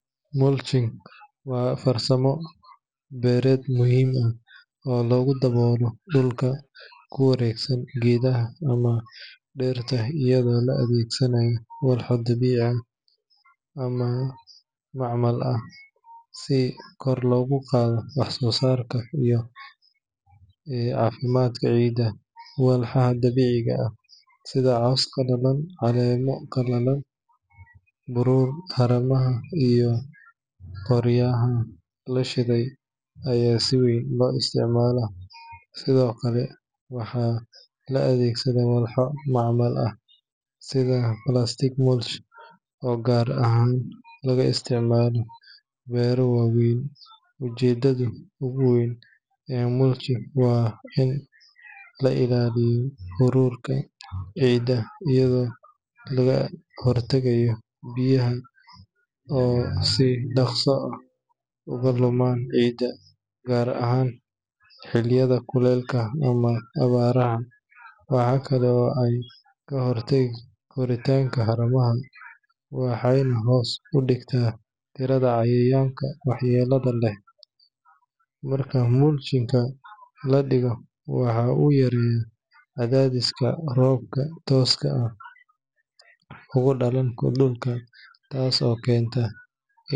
Mulching waa farsamo beereed muhiim ah oo lagu daboolo dhulka ku wareegsan geedaha ama dhirta iyada oo la adeegsanayo walxo dabiici ah ama macmal ah si kor loogu qaado wax-soosaarka iyo caafimaadka ciidda. Walxaha dabiiciga ah sida caws qalalan, caleemo qalalay, buruur haramaha, iyo qoryaha la shiiday ayaa si weyn loo isticmaalaa, sidoo kale waxaa la adeegsadaa walxo macmal ah sida plastic mulch oo gaar ahaan laga isticmaalo beero waaweyn. Ujeedada ugu weyn ee mulching waa in la ilaaliyo huurka ciidda, iyadoo laga hortagayo biyaha oo si dhaqso ah uga luma ciidda, gaar ahaan xilliyada kulaylka ama abaaraha. Waxaa kale oo ay ka hortagtaa koritaanka haramaha, waxayna hoos u dhigtaa tirada cayayaanka waxyeellada leh. Marka mulch-ka la dhigo, waxa uu yareeyaa cadaadiska roobka tooska ugu dhaca dhulka taas oo keenta in.